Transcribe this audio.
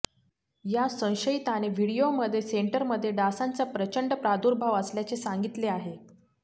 या संशयिताने व्हिडिओमध्ये सेंटरमध्ये डासांचा प्रचंड प्रादुर्भाव असल्याचे सांगितले आहे